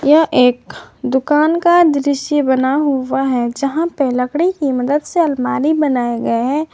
यह एक दुकान का दृश्य बना हुआ है जहां पे लकड़ी की मदद से अलमारी बनाए गए हैं।